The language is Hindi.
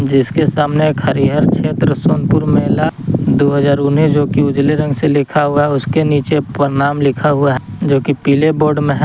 जिसके सामने एक हरिहर क्षेत्र सोनपुर मेला दो हजार ऊनीस जोकि उजले रंग से लिखा हुआ है उसके नीचे परनाम लिखा हुआ है जोकि पीले बोर्ड में है।